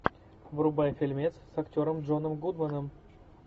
врубай фильмец с актером джоном гудманом